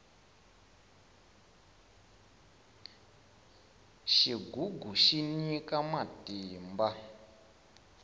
xigugu xi nyika matimba